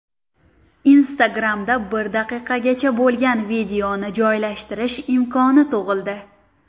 Instagram’da bir daqiqagacha bo‘lgan videoni joylashtirish imkoni tug‘ildi.